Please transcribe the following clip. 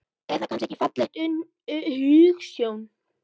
Er það kannski ekki falleg hugsjón?